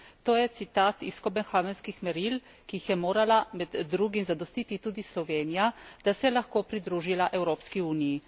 To je citat iz københavenskih meril, ki jih je morala med drugim zadostiti tudi Slovenija, da se je lahko pridružila Evropski uniji.